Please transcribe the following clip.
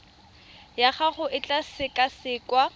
ya gago e tla sekasekwa